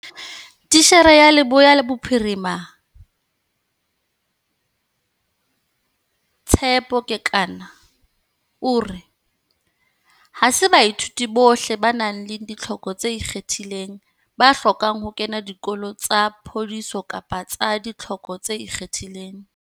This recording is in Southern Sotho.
Titjhere ya Leboya Bophiri ma, Tshepo Kekana o re, ha se baithuti bohle ba nang le ditlhoko tse ikgethileng ba hlokang ho kena dikolo tsa phodiso kapa tsa ditlhoko tse ikgethileng.